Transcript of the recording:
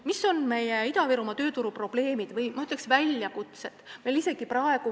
Mis on Ida-Virumaa tööturu probleemid või, ma ütleksin, väljakutsed?